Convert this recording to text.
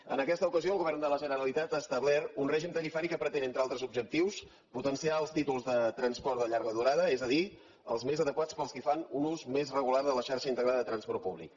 en aquesta ocasió el govern de la generalitat ha establert un règim tarifari que pretén entre altres objectius potenciar els títols de transport de llarga durada és a dir els més adequats per als qui fan un ús més regular de la xarxa integrada de transport públic